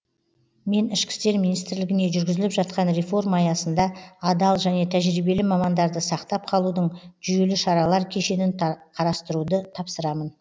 мен ішкі істер министрлігіне жүргізіліп жатқан реформа аясында адал және тәжірибелі мамандарды сақтап қалудың жүйелі шаралар кешенін қарастыруды тапсырамын